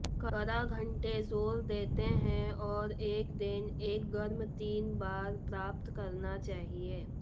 काढ़ा घंटे जोर देते हैं और एक दिन एक गर्म तीन बार प्राप्त करना चाहिए